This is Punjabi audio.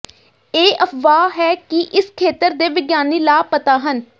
ਇਹ ਅਫਵਾਹ ਹੈ ਕਿ ਇਸ ਖੇਤਰ ਦੇ ਵਿਗਿਆਨੀ ਲਾਪਤਾ ਹਨ